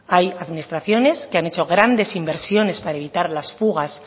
hay administraciones que han hecho grandes inversiones para evitar las fugas